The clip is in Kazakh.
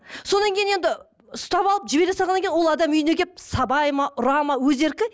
содан кейін енді ұстап алып жібере салғаннан кейін ол адам үйіне келіп сабайды ма ұра ма өз еркі